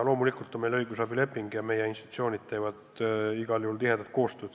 Loomulikult on meil õigusabileping ja meie institutsioonid teevad igal juhul tihedat koostööd.